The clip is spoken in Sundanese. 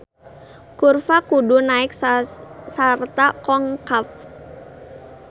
Kurva kudu naek sarta konkav.